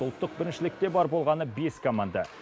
ұлттық біріншілікте бар болғаны бес команда